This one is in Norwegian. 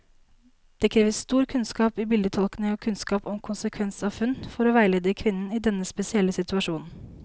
Det krever stor kunnskap i bildetolkning og kunnskap om konsekvens av funn, for å veilede kvinnen i denne spesielle situasjonen.